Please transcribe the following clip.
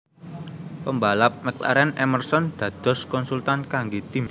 PembalapMcLaren Emerson dados konsultan kangge tim